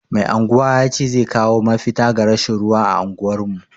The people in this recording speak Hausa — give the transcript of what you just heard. Mai anguwa ya ce zai kawo mafita ga rashin ruwa a unguwar mu.